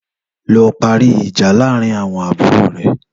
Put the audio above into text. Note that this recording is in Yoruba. Lò pàrí ijà làárín áwòn àbúró rè